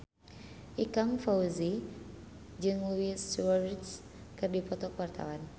Ikang Fawzi jeung Luis Suarez keur dipoto ku wartawan